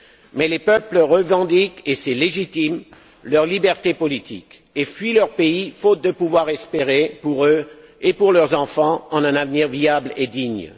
Mais les peuples revendiquent et c'est légitime leur liberté politique et fuient leur pays faute de pouvoir espérer, pour eux et pour leurs enfants, un avenir viable et digne.